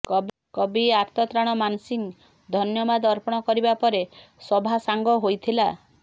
କବି ଆରତ ତ୍ରାଣ ମାନସିଂ ଧନ୍ୟବାଦ ଅର୍ପଣ କରିବା ପରେ ସଭାସାଙ୍ଗ ହୋଇଥିଲା